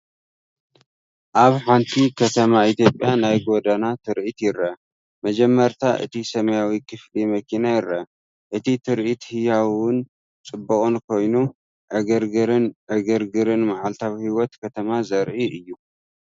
ኣብ ሓንቲ ከተማ ኢትዮጵያ ናይ ጎደና ትርኢት ይርአ። መጀመርታ እቲ ሰማያዊ ክፍሊ መኪና ይርአ። እቲ ትርኢት ህያውን ጽዑቕን ኮይኑ፡ ዕግርግርን ዕግርግርን መዓልታዊ ህይወት ከተማ ዘርኢ እዩ።